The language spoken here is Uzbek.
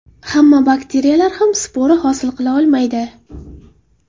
Hamma bakteriyalar ham spora hosil qila olmaydi.